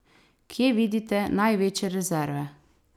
Kje vidite največje rezerve?